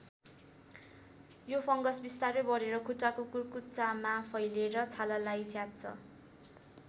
यो फङ्गस विस्तारै बढेर खुट्टाको कुर्कुच्चामा फैलेर छालालाई च्यात्छ।